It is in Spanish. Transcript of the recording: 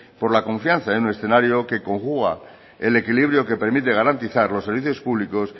por la confianza en el escenario que conjuga el equilibrio que permite garantizar los servicios públicos